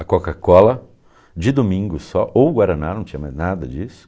A Coca-Cola, de domingo só, ou Guaraná, não tinha mais nada disso.